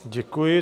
Děkuji.